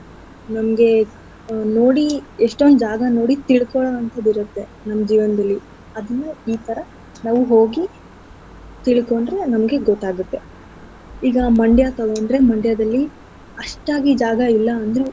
ಮುಂದೆ ನೋಡಿ ಎಷ್ಟೊಂದ್ ಜಾಗ ನೋಡಿ ತಿಳ್ಕೊಳೋವಂತದಿರುತ್ತೆ ನಮ್ ಜೀವನದಲ್ಲಿ ಅದನ್ನು ಈತರ ನಾವ್ ಹೋಗಿ ತಿಳ್ಕೊಂಡ್ರೆ ನಮ್ಗೆ ಗೊತ್ತಾಗತ್ತೆ. ಈಗ Mandya ತೊಗೊಂಡ್ರೆ Mandya ದಲ್ಲಿ ಅಷ್ಟಾಗಿ ಜಾಗ ಇಲ್ಲ ಅಂದ್ರು.